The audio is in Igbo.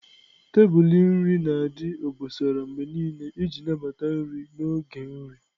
Tebụl iri nri na-adị obosara mgbe niile iji nabata nri n'oge nri.